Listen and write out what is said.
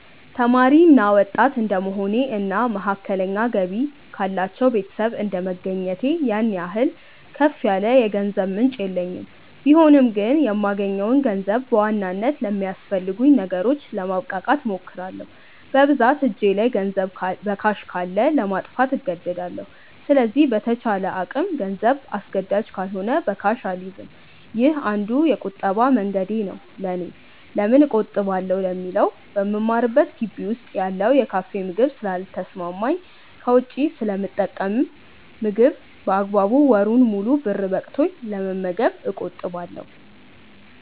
ተማሪ እና ወጣት እድንደመሆኔ እና መካከለኛ ገቢ ካላቸው ቤተሰብ እንደመገኘቴ ያን ያህል ከፍ ያለ የገንዘብ ምንጭ የለኝም ቢሆንም ግን የማገኘውን ገንዘብ በዋናነት ለሚያስፈልጉኝ ነገሮች ለማብቃቃት እሞክራለው። በብዛት እጄ ላይ ገንዘብ በካሽ ካለ ለማጥፋት እንደዳለው ስለዚህ በተቻለ አቅም ገንዘብ አስገዳጅ ካልሆነ በካሽ አልይዝም። ይህ አንዱ የቁጠባ መንገዴ ነው ለኔ። ለምን እቆጥባለው ለሚለው በምማርበት ግቢ ውስጥ ያለው የካፌ ምግብ ስለ ልተሰማማኝ ከውጪ ስለምጠቀም ምግብ በአግባቡ ወሩን ሙሉ ብር በቅቶኝ ለመመገብ እቆጥባለው።